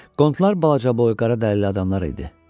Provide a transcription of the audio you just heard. Qondlar balacaboy qara dərili adamlar idi.